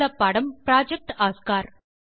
மூலப்பாடம் project Oscar